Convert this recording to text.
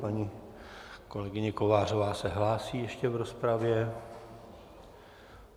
Paní kolegyně Kovářová se hlásí ještě v rozpravě.